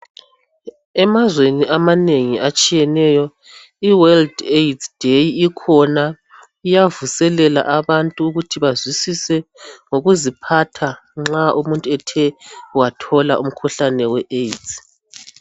Emazweni amanengi atshiyeneyo iWorld AIDS Day ikhona .Iyavuselela abantu ukuthi bazwisise ngokuziphatha nxa umuntu ethe wathola umkhuhlane weAIDS.